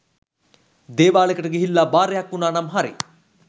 දේවාලෙකට ගිහිල්ලා බාරයක් වුනානම් හරි.